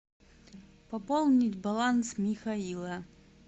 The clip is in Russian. пополнить баланс михаила